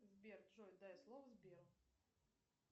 сбер джой дай слово сберу